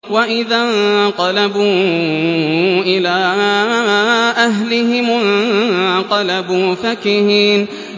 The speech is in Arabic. وَإِذَا انقَلَبُوا إِلَىٰ أَهْلِهِمُ انقَلَبُوا فَكِهِينَ